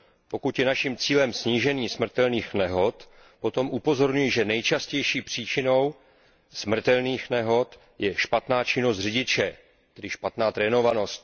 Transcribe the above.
Pokud je naším cílem snížení smrtelných nehod, potom upozorňuji, že nejčastější příčinou smrtelných nehod je špatná činnost řidiče, tedy špatná trénovanost.